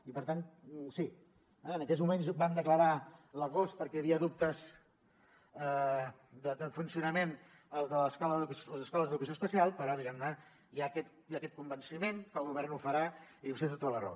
i per tant sí en aquells moments vam declarar a l’agost perquè hi havia dubtes de funcionament el de les escoles d’educació especial però diguem ne hi ha aquest convenciment que el govern ho farà i vostè té tota la raó